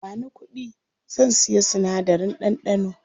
Bani kuɗi, zan siya sinadarin ɗanɗano.